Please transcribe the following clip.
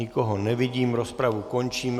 Nikoho nevidím, rozpravu končím.